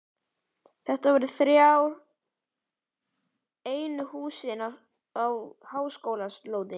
Þetta voru þá einu húsin á háskólalóðinni.